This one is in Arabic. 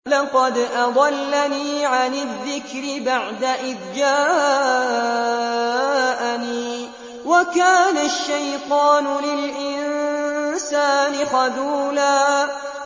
لَّقَدْ أَضَلَّنِي عَنِ الذِّكْرِ بَعْدَ إِذْ جَاءَنِي ۗ وَكَانَ الشَّيْطَانُ لِلْإِنسَانِ خَذُولًا